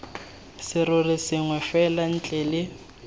serori sengwe fela ntle le